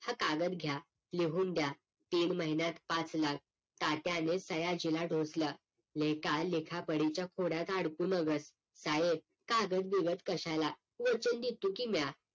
हा कागद घ्या लिहून द्या तीन महिन्यात पाच लाख तात्याने सयाजीला ढोसलं लेका लिखापडिच्या कोड्यात अडकू नगस साहेब कागद बिगद कशाला वचन देतो की म्या